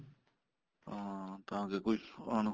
ਹਾਂ ਤਾਂ ਕੇ ਕੋਈ ਉਹਨੂੰ